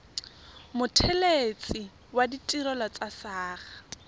mothelesi wa ditirelo tsa saqa